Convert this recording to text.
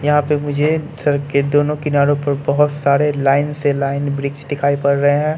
यहां पे मुझे सड़क के दोनों किनारो पर बहोत सारे लाइन से लाइन वृक्ष दिखाई पड़ रहे हैं।